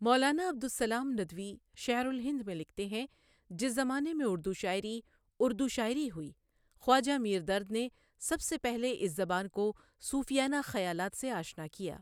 مولانا عبدالسّلام ندوی شعرالہند میں لکھتے ہیں جس زمانے میں اُردو شاعری، اُردو شاعری ہوئی، خواجہ میر دردؔ نے سب سے پہلے اس زبان کو صوفیانہ خیالات سے آشنا کیا